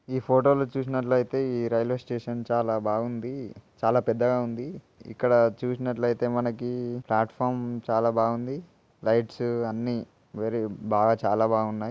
ఈ ఫొటోలో చూసినట్లయితే ఈ రైల్వే స్టేషన్ చాలా బాగుంది. చాలా పెద్దగా ఉంది. ఇక్కడ చూసినట్లయితే మనకి ప్లాటుఫారం చాలా బాగుంది. లైట్స్ అన్ని వెరీ బాగా చాలా బాగున్నాయి.